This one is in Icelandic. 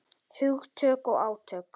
Hugtök og átök.